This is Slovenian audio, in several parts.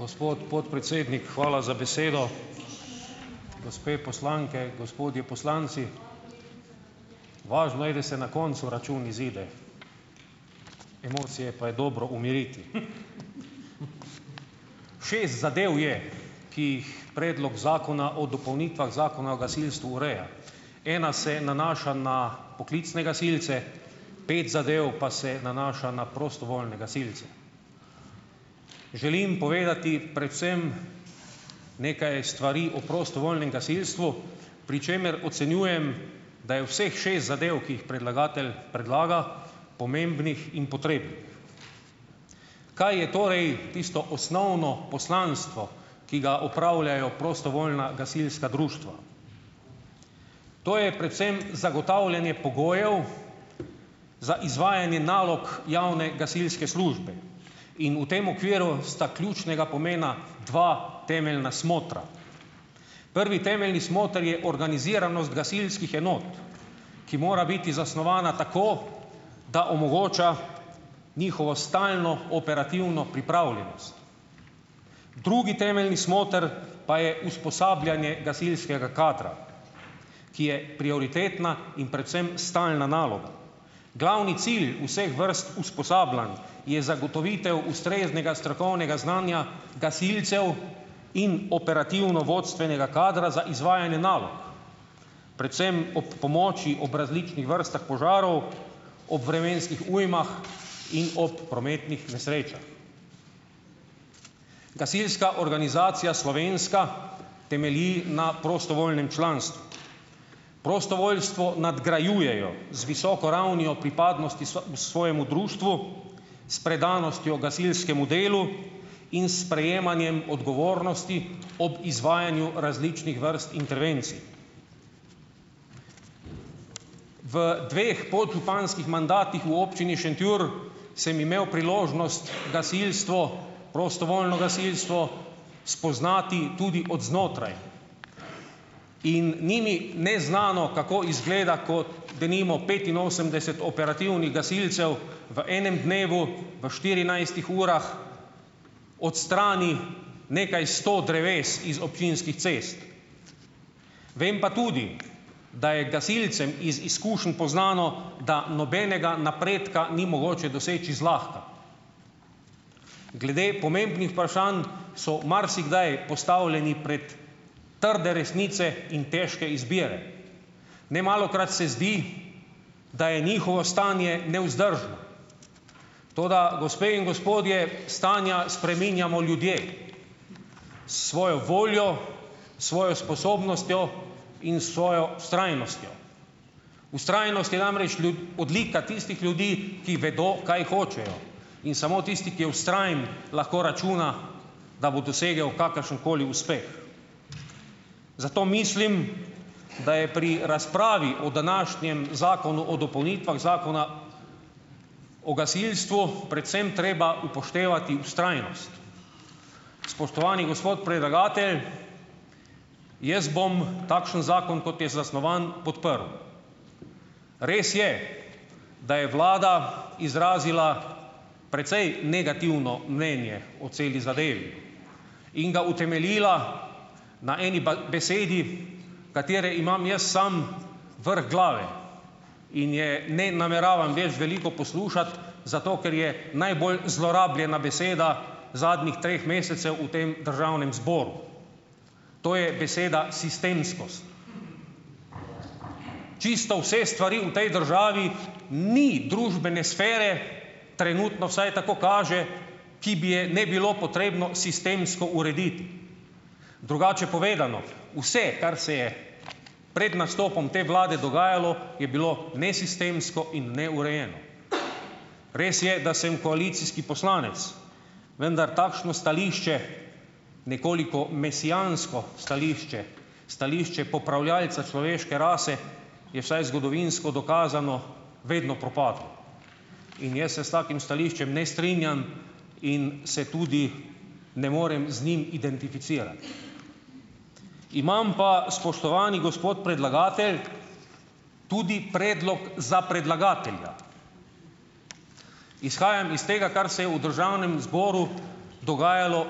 Gospod podpredsednik, hvala za besedo. Gospe poslanke, gospodje poslanci! Važno je, da se na koncu račun izide, emocije pa je dobro umiriti. Šest zadev je, ki jih Predlog zakona o dopolnitvah Zakona o gasilstvu ureja. Ena se nanaša na poklicne gasilce, pet zadev pa se nanaša na prostovoljne gasilce. Želim povedati predvsem nekaj stvari o prostovoljnem gasilstvu, pri čemer ocenjujem, da je vseh šest zadev, ki jih predlagatelj predlaga, pomembnih in potrebnih. Kaj je torej tisto osnovno poslanstvo, ki ga opravljajo prostovoljna gasilska društva? To je predvsem zagotavljanje pogojev za izvajanje nalog javne gasilske službe. In v tem okviru sta ključnega pomena dva temeljna smotra. Prvi temeljni smoter je organiziranost gasilskih enot, ki mora biti zasnovana tako, da omogoča njihovo stalno operativno pripravljenost. Drugi temeljni smoter pa je usposabljanje gasilskega kadra, ki je prioritetna in predvsem stalna naloga. Glavni cilj vseh vrst usposabljanj je zagotovitev ustreznega strokovnega znanja gasilcev in operativno-vodstvenega kadra za izvajanje nalog, predvsem ob pomoči ob različnih vrstah požarov, ob vremenskih ujmah in ob prometnih nesrečah. Gasilska organizacija slovenska temelji na prostovoljnem članstvu. Prostovoljstvo nadgrajujejo z visoko ravnjo pripadnosti svojemu društvu, s predanostjo gasilskemu delu in s sprejemanjem odgovornosti ob izvajanju različnih vrst intervencij. V dveh podžupanskih mandatih v Občini Šentjur sem imel priložnost gasilstvo, prostovoljno gasilstvo, spoznati tudi od znotraj. In ni mi neznano, kako izgleda, kot denimo petinosemdeset operativnih gasilcev v enem dnevu, v štirinajstih urah odstrani nekaj sto dreves iz občinskih cest. Vem pa tudi, da je gasilcem iz izkušenj poznano, da nobenega napredka ni mogoče doseči zlahka. Glede pomembnih vprašanj so marsikdaj postavljeni pred trde resnice in težke izbire. Nemalokrat se zdi, da je njihovo stanje nevzdržno. Toda, gospe in gospodje, stanja spreminjamo ljudje s svojo voljo, svojo sposobnostjo in s svojo vztrajnostjo. Vztrajnost je namreč odlika tistih ljudi, ki vedo, kaj hočejo. In samo tisti, ki je vztrajen, lahko računa, da bo dosegel kakršenkoli uspeh. Zato mislim, da je pri razpravi o današnjem Zakonu o dopolnitvah Zakona o gasilstvu predvsem treba upoštevati vztrajnost. Spoštovani gospod predlagatelj, jaz bom takšen zakon, kot je zasnovan, podprl. Res je, da je vlada izrazila precej negativno mnenje o celi zadevi in ga utemeljila na eni besedi, katere imam jaz sam vrh glave in je ne nameravam več veliko poslušati, zato ker je najbolj zlorabljena beseda zadnjih treh mesecev v tem državnem zboru, to je beseda sistemskost. Čisto vse stvari v tej državi ni družbene sfere, trenutno vsaj tako kaže, ki bi je ne bilo potrebno sistemsko urediti. Drugače povedano, vse, kar se je pred nastopom te vlade dogajalo, je bilo nesistemsko in neurejeno. Res je, da sem koalicijski poslanec, vendar takšno stališče, nekoliko mesijansko stališče, stališče popravljalca človeške rase je, vsaj zgodovinsko dokazano, vedno propadlo. In jaz se s takim stališčem ne strinjam in se tudi ne morem z njim identificirati. Imam pa, spoštovani gospod predlagatelj, tudi predlog za predlagatelja. Izhajam is tega, kar se je v državnem zboru dogajalo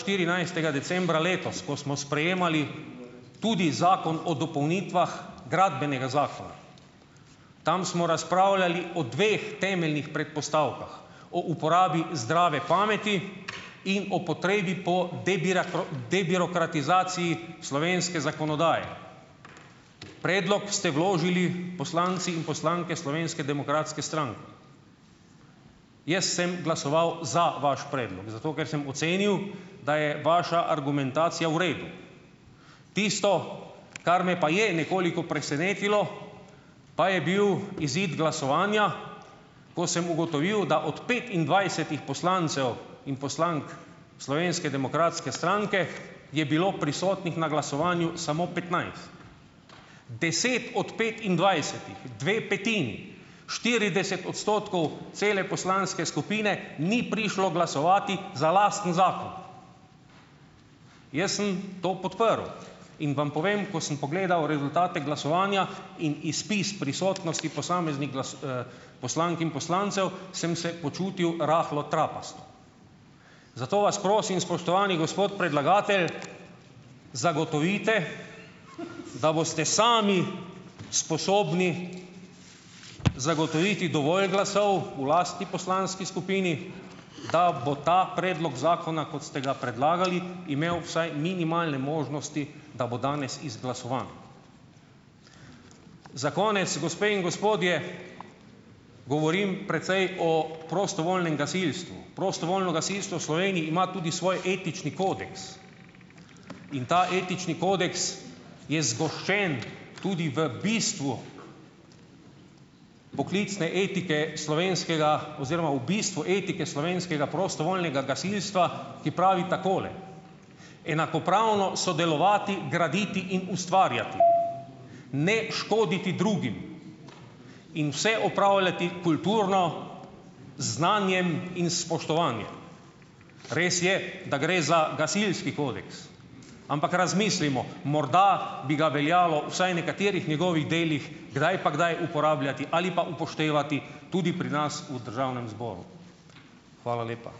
štirinajstega decembra letos, ko smo sprejemali tudi Zakon o dopolnitvah Gradbenega zakona. Tam smo razpravljali o dveh temeljnih predpostavkah, o uporabi zdrave pameti in o potrebi po debirokratizaciji slovenske zakonodaje. Predlog ste vložili poslanci in poslanke Slovenske demokratske stranke. Jaz sem glasoval za vaš predlog, zato ker sem ocenil, da je vaša argumentacija v redu. Tisto, kar me pa je nekoliko presenetilo, pa je bil izid glasovanja, ko sem ugotovil, da od petindvajsetih poslancev in poslank Slovenske demokratske stranke je bilo prisotnih na glasovanju samo petnajst. deset od petindvajsetih, dve petini, štirideset odstotkov cele poslanske skupine ni prišlo glasovat za lasten zakon. Jaz sem to podprl. In vam povem, ko sem pogledal rezultate glasovanja in izpis prisotnosti posameznih poslank in poslancev, sem se počutil rahlo trapasto. Zato vas prosim, spoštovani gospod predlagatelj, zagotovite, da boste sami sposobni zagotoviti dovolj glasov v lasti poslanski skupini, da bo ta predlog zakona, kot ste ga predlagali, imel vsaj minimalne možnosti, da bo danes izglasovan. Za konec, gospe in gospodje, govorim precej o prostovoljnem gasilstvu. Prostovoljno gasilstvo v Sloveniji ima tudi svoj etični kodeks. In ta etični kodeks je zgoščen tudi v bistvu poklicne etike slovenskega oziroma v bistvu etike slovenskega prostovoljnega gasilstva, ki pravi takole: "Enakopravno sodelovati, graditi in ustvarjati. Ne škoditi drugim." In vse opravljati kulturno z znanjem in s spoštovanjem. Res je, da gre za gasilski kodeks. Ampak razmislimo, morda bi ga veljalo vsaj nekaterih njegovih delih kdaj pa kdaj uporabljati ali pa upoštevati tudi pri nas v državnem zboru. Hvala lepa.